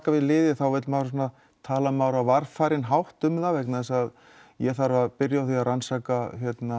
við liði vill maður tala á varfærinn hátt um það vegna þess að ég þarf að byrja að rannsaka